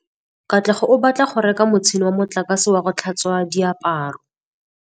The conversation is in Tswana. Katlego o batla go reka motšhine wa motlakase wa go tlhatswa diaparo.